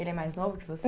Ele é mais novo que você?